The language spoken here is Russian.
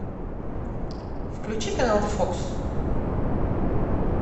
включи канал фокс